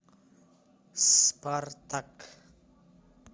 спартак